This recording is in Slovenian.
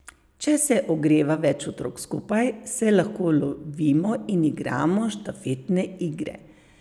Če se ogreva več otrok skupaj, se lahko lovimo ali igramo štafetne igre.